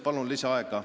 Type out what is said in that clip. Palun lisaaega!